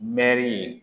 Mɛri ye